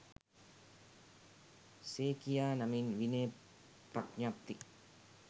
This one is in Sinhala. සේබියා නමින් විනය ප්‍රඥප්ති